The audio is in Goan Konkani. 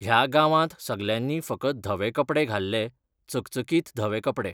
ह्या गांवांत सगल्यांनी फकत धवे कपडे घाल्ले, चकचकीतधवे कपडे.